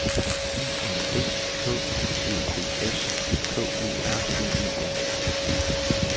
I N D K Ø B S K U R V E N